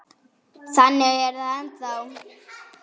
Og þannig er það ennþá.